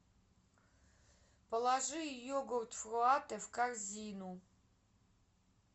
положи йогурт фруате в корзину